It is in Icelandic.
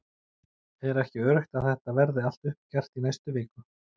Er ekki öruggt að þetta verði allt uppgert í næstu viku??